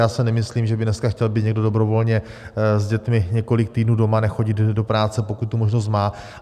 Já si nemyslím, že by dneska chtěl být někdo dobrovolně s dětmi několik týdnů doma, nechodit do práce, pokud tu možnost má.